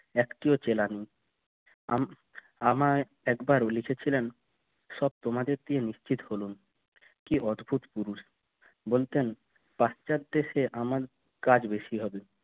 একটিও চেলার না আমি আমায় একবারও লিখেছিলেন সব তোমাদের দিয়ে নিশ্চিত হলুম কি অদ্ভুত পুরুষ বলতেন পাশ্চাত দেশে আমার কাজ বেশি